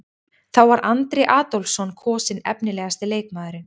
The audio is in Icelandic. Þá var Andri Adolphsson kosinn efnilegasti leikmaðurinn.